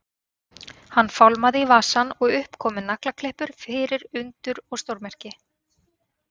Hann fálmaði í vasann og upp komu naglaklippur fyrir undur og stórmerki.